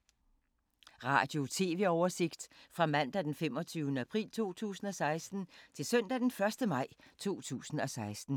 Radio/TV oversigt fra mandag d. 25. april 2016 til søndag d. 1. maj 2016